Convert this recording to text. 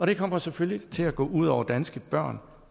det kommer selvfølgelig til at gå ud over danske børn